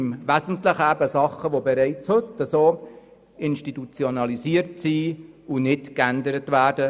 Im Wesentlichen handelt es sich um Sachen, die bereits heute institutionalisiert sind und nicht geändert werden.